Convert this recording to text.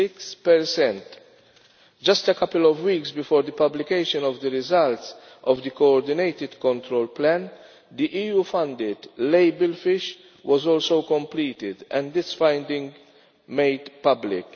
6. Just a couple of weeks before the publication of the results of the coordinated control plan, the EU funded label fish was also completed and this finding made public.